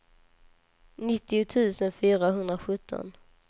nittio tusen fyrahundrasjutton